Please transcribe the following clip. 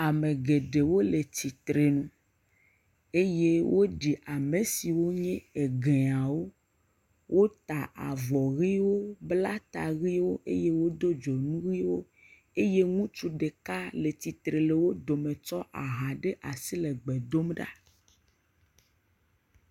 Ame geɖewo le tsitre nu eye woɖi ame si wonye egɛawo. Wota avɔ ɣiwo bla ta ɣiwo eye do dzonu ɣiwo. Eye ŋutsu ɖeka le tsitre le wo dome tsɔ aha ɖe asi le gbe dom ɖa.